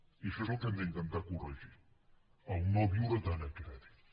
i això és el que hem d’intentar corregir no viure tant a crèdit